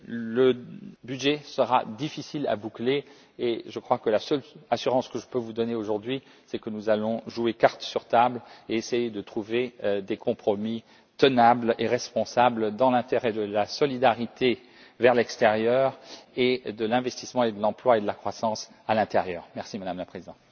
Le budget sera donc difficile à boucler et je crois que la seule assurance que je puisse vous donner aujourd'hui, c'est que nous allons jouer cartes sur table et essayer de trouver des compromis tenables et responsables dans l'intérêt de la solidarité vis à vis de l'extérieur et de l'investissement, de l'emploi et de la croissance à l'intérieur de l'Union.